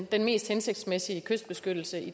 den mest hensigtsmæssige kystbeskyttelse